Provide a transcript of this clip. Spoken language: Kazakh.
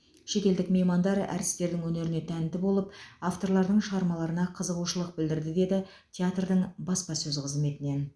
шетелдік меймандар әртістердің өнеріне тәнті болып авторлардың шығармаларына қызығушылық білдірді деді театрдың баспасөз қызметінен